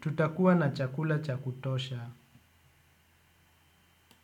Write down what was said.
Tutakua na chakula cha kutosha.